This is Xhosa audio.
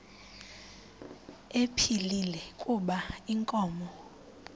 ephilile kuba inkomo